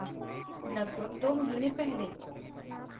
लगभग 2 महीने पहले